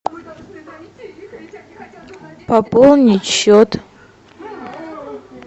пополнить счет